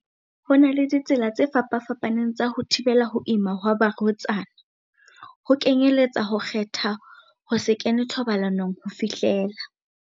Ho na le ditsela tse fapafa paneng tsa ho thibela ho ima ha ba rwetsana, ho kenyeletsa ho kgetha ho se kene thobalanong ho fihlela.